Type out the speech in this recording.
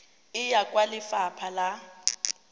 e ya kwa lefapha la